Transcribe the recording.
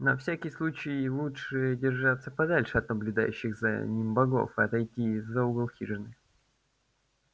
на всякий случай лучше держаться подальше от наблюдающих за ним богов отойти за угол хижины